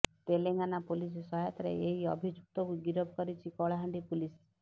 Telangana police ସହାୟତାରେ ଏହି ଅଭିଯୁକ୍ତକୁ ଗିରଫ କରିଛି କଳାହାଣ୍ଡି ପୁଲିସ